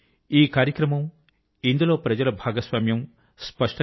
ఈ కార్యక్రమం ఇందులో ప్రజల భాగస్వామ్యం చెప్తున్నాయి